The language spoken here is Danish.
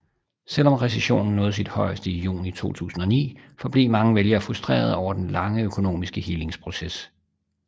Selvom recessionen nåede sit højeste i juni 2009 forblev mange vælgere frustrerede over den lange økonomiske helingsproces